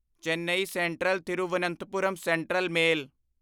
Chennai central Thiruvananthapuram central male